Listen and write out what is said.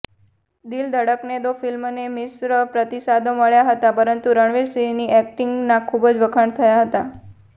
દિલ ધડકને દો ફિલ્મને મિશ્ર પ્રતિસાદો મળ્યા હતા પરંતુ રણવીરસિંહની એક્ટિંગના ખૂબ વખાણ થયા હતાં